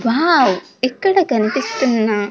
wow ఇక్కడ కనిపిస్తున్న--